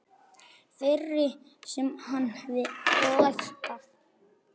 Þeirri sem hann hefði lært af.